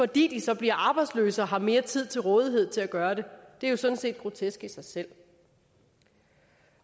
de så bliver arbejdsløse og har mere tid til rådighed til at gøre det det er jo sådan set grotesk i sig selv